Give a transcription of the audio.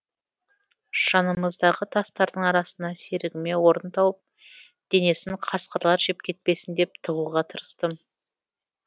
жанымыздағы тастардың арасына серігіме орын тауып денесін қасқырлар жеп кетпесін деп тығуға тырыстым